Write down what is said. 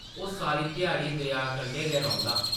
ओह् सारी ध्याड़ी दरेआ कंढै गै रौंह्दा ।